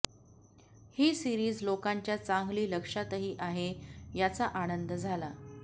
ही series लोकांच्या चांगली लक्षातही आहे याचा आनंद झाला